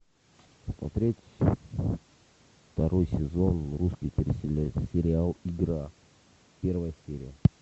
смотреть второй сезон русский телесериал игра первая серия